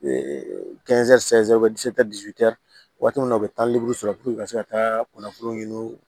waati min na u bɛ taa sɔrɔ u ka se ka taa kunnafoli ɲini